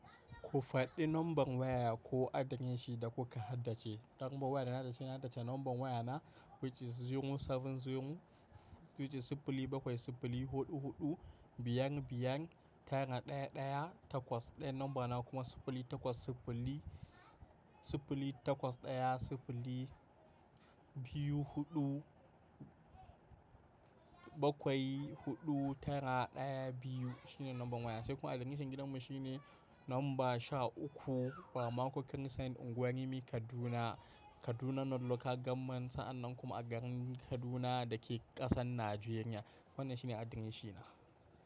Ku faɗi nomban waya ko adireshin da kuka haddace. Nambar waya da na haddace na dace nomban waya na wacce zero seven zero wacce siffili bakwai siffili huɗu huɗu biyan biyan tara ɗaya ɗaya takwas. Ɗaya namba na kuma siffili takwas siffili siffili takwas ɗaya siffili biyu huɗu bakwai huɗu tara ɗaya biyu shine nomban waya. Sai kuma adireshin gidanmu shine nomba sha uku Ramakun Saint unguwar rimi Kaduna. Kaduna North Local Government. Sa'an nan kuma a garin Kaduna da ke ƙasar Najeriya. Wannan shine adireshina.